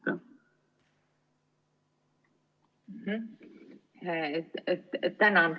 Tänan!